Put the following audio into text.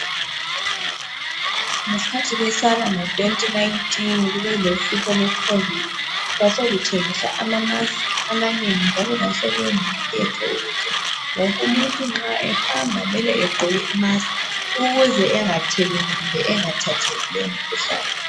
Ngesikhathi lesiyana ngo 2019 kube lohlupho lwe COVID. Kwasekuthengiswa ama mask amanengi njalo kwasekungumthetho ukuthi wonke umuntu nxa ehamba egqoke i-mask ukuze engatheleli kumbe engathathi lomkhuhlane.